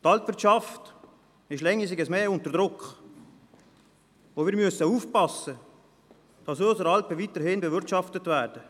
Die Alpwirtschaft ist je länger je mehr unter Druck, und wir müssen aufpassen, dass unsere Alpen weiterhin bewirtschaftet werden.